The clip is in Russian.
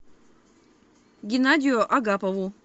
геннадию агапову